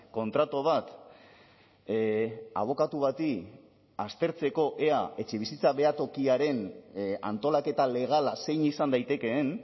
kontratu bat abokatu bati aztertzeko ea etxebizitza behatokiaren antolaketa legala zein izan daitekeen